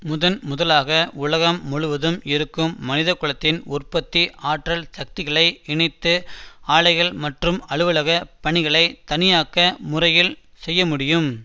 முதன் முதலாக உலகம் முழுவதும் இருக்கும் மனிதகுலத்தின் உற்பத்தி ஆற்றல் சக்திகளை இணைத்து ஆலைகள் மற்றும் அலுவலக பணிகளை தானியக்க முறையில் செய்யமுடியும்